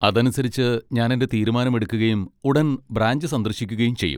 അതനുസരിച്ച് ഞാൻ എന്റെ തീരുമാനം എടുക്കുകയും ഉടൻ ബ്രാഞ്ച് സന്ദർശിക്കുകയും ചെയ്യും.